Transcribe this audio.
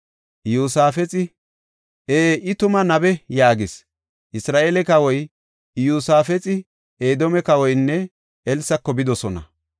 Iyosaafexi, “Ee, I tuma nabe” yaagis. Isra7eele kawoy, Iyosaafexi, Edoome kawoynne Elsako bidosona.